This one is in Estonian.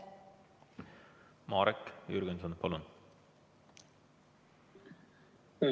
Marek Jürgenson, palun!